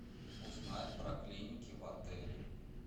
узнать про клиники в отеле